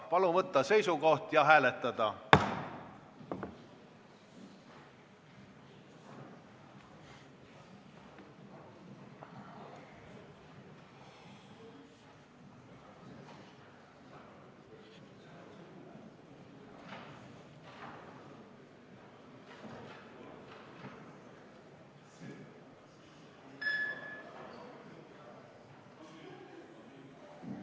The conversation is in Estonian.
Palun võtta seisukoht ja hääletada!